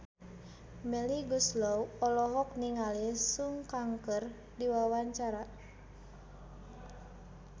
Melly Goeslaw olohok ningali Sun Kang keur diwawancara